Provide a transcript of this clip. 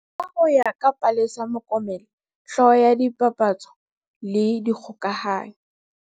Ka ho ya ka Palesa Mokome le, hlooho ya tsa dipapatso le dikgokahanyo.